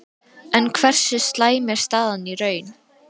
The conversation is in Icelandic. En hversu slæm er staðan í raun?